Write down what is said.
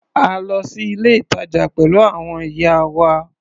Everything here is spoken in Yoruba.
A lọ sí ilé-ìtàjà pẹ̀lú àwọn ìyá wa.